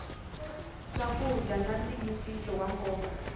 swakudya na ntiyisiso wa nkoka